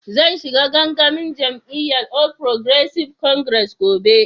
Zan shiga gangamin jami'yyan All Progressive Congress gobe.